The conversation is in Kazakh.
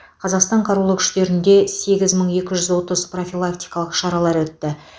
қазақстан қарулы күштерінде сегіз мың екі жүз отыз профилактикалық шаралар өтті